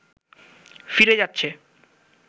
ফিরে যাচ্ছে